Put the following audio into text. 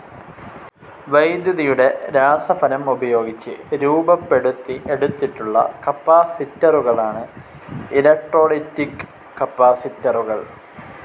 വൈദ്യുതിയുടെ രാസഫലം ഉപയോഗിച്ച് രൂപപ്പെടുത്തി എടുത്തിട്ടുള്ള കപ്പാസിറ്ററുകളാണ് ഇലക്ട്രോലൈറ്റിക്‌ കപ്പാസിറ്ററുകൾ.